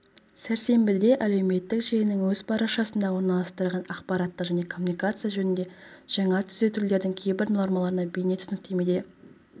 сәрсенбіде әлеуметтік желінің өз парақшасында орналастырған ақпараттық және коммуникация жөніндегі жаңа түзетулердің кейбір нормаларына бейнетүсініктемеде